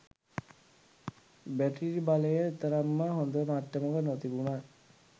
battery බලය එතරම්ම හොඳ මට්ටමක නොතිබුනත්